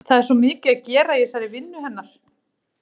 Það er svo mikið að gera í þessari vinnu hennar.